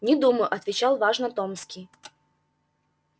не думаю отвечал важно томский